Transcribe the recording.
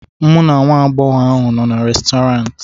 mụ na nwa agbọghọ ahụ nọ na Restọrantị